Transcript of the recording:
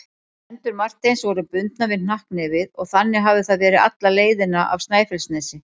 Hendur Marteins voru bundnar við hnakknefið og þannig hafði það verið alla leiðina af Snæfellsnesi.